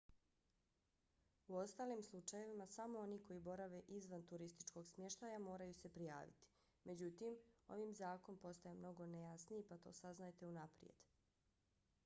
u ostalim slučajevima samo oni koji borave izvan turističkog smještaja moraju se prijaviti. međutim ovim zakon postaje mnogo nejasniji pa to saznajte unaprijed